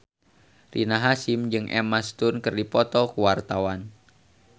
Rina Hasyim jeung Emma Stone keur dipoto ku wartawan